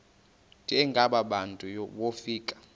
njengaba bantu wofika